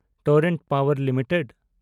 torrent Power limited